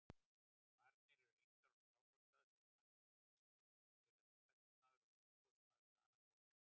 Varnir eru engar á Skálholtsstað, sagði Marteinn af festu,-þér eruð embættismaður og umboðsmaður Danakonungs.